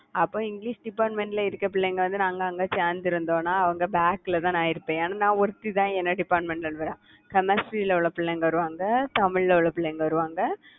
அப்ப English department ல இருக்கிற பிள்ளைங்க வந்து நாங்க அங்க சேர்ந்து இருந்தோம்ன்னா அவங்க back ல தான் நான் இருப்பேன். ஏன்னா நான் ஒருத்திதான் என்னோட department ல இருந்து வர்றேன் chemistry ல உள்ள பிள்ளைங்க வருவாங்க, தமிழ்ல உள்ள பிள்ளைங்க வருவாங்க.